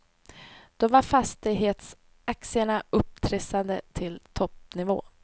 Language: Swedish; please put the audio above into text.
Då var fastighetsaktierna upptrissade till toppnivå.